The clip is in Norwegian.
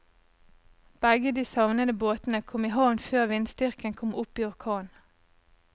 Begge de savnede båtene kom i havn før vindstyrken kom opp i orkan.